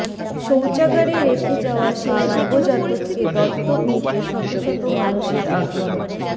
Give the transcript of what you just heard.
শৌচাগারে রেখে যাওয়া সেই নবজাতককে দত্তক নিতে শত শত মানুষের আগ্রহ